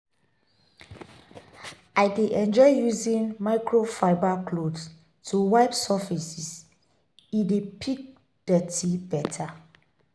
I dey enjoy using microfiber cloth to wipe surfaces, e dey pick dirt beta.